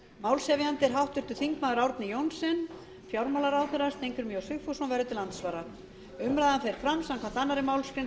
er háttvirtur þingmaður árni johnsen fjármálaráðherra steingrímur j sigfússon verður til andsvara umræðan fer fram samkvæmt annarri málsgrein